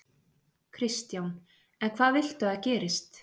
Kristján: En hvað viltu að gerist?